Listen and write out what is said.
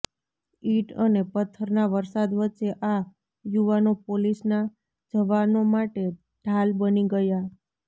it અને પથ્થરના વરસાદ વચ્ચે આ યુવાનો પોલીસના જવાનો માટે ઢાલ બની ગયા